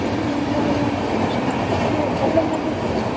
इतना सुंदर लग रहा है मत पूछीए बहोत भयंकर लग रहा है देखने में।